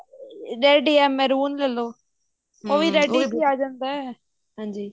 red ਯਾ mehrin ਲੈਲੋ red ਵਿੱਚ ਹੀ ਆ ਜਾਂਦਾ